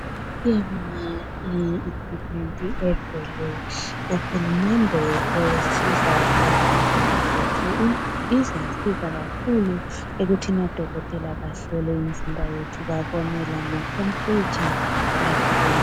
Siyabonga iequipment evela kUhulumende esiza abantu bethu izasiza kakhulu ekuthini odokotela bahlole imizimba yethu babone lama temperature lakho konke